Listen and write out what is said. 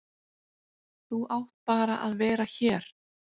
Þú átt bara að vera hér.